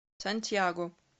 сантьяго